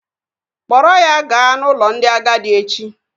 Kpọrọ ya gaa n'ụlọ ndị agadi echi!